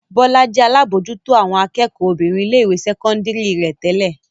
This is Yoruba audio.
Bọ́lá jẹ́ alábòójútó àwọn akẹ́kọ̀ọ́ obìnrin ilé-ìwé sẹ́kọ́ndárì rẹ̀ tẹ́lẹ̀.